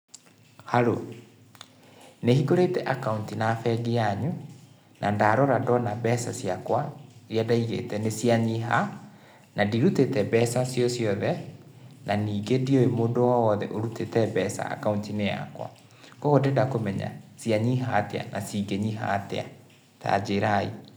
Harũ, nĩ hingũrĩte akaũnti na bengi yanyũ, na ndarora ndona mbeca ciakwa iria ndaigĩte nĩ cia nyiha, na ndirutĩte mbeca cio ciothe na ningĩ ndiũĩ mũndũ owothe ũrutĩte mbeca akaũnti-inĩ yakwa. Ũguo ndĩrenda kũmenya cianyiha atĩa na cingĩnyiha atĩa, tanjĩrai.